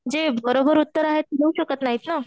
जे बरोबर उत्तर आहेत, देऊ शकत नाहीत ना.